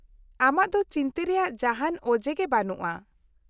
-ᱟᱢᱟᱜ ᱫᱚ ᱪᱤᱱᱛᱟᱹ ᱨᱮᱭᱟᱜ ᱡᱟᱦᱟᱱ ᱚᱡᱮ ᱜᱮ ᱵᱟᱹᱱᱩᱜᱼᱟ ᱾